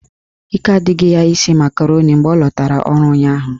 Ike adịghị ya isi makaroni mgbe ọ latara ọrụ ụnyaahụ